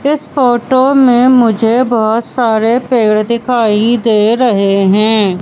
इस फोटो में मुझे बहोत सारे पेड़ दिखाई दे रहे हैं।